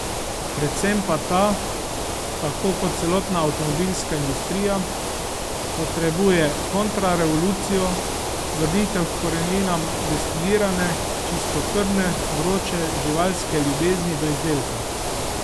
Predvsem pa ta, tako kot celotna avtomobilska industrija, potrebuje kontrarevolucijo, vrnitev h koreninam destilirane, čistokrvne, vroče, živalske ljubezni do izdelka.